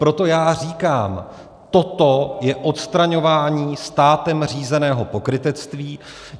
Proto já říkám - toto je odstraňování státem řízeného pokrytectví.